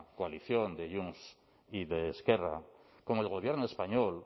coalición de junts y de esquerra con el gobierno español